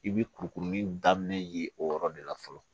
I bɛ kurukurunin daminɛ yen yen o yɔrɔ de la fɔlɔ